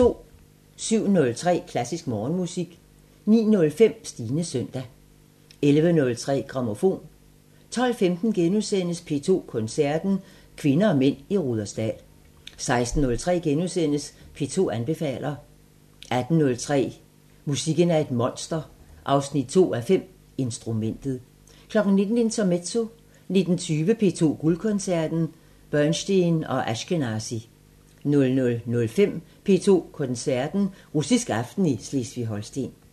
07:03: Klassisk Morgenmusik 09:05: Stines søndag 11:03: Grammofon 12:15: P2 Koncerten – Kvinder og mænd i Rudersdal * 16:03: P2 anbefaler * 18:03: Musikken er et monster 2:5 – Instrumentet 19:00: Intermezzo 19:20: P2 Guldkoncerten: Bernstein og Ashkenazy 00:05: P2 Koncerten – Russisk aften i Slesvig-Holsten